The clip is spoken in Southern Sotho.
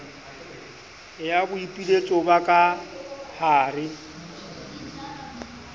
ya boipiletso ba ka hare